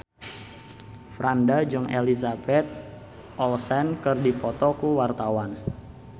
Franda jeung Elizabeth Olsen keur dipoto ku wartawan